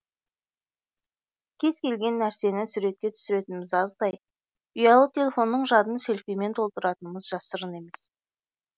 кез келген нәрсені суретке түсіретініміз аздай ұялы телефонның жадын селфимен толтыратынымыз жасырын емес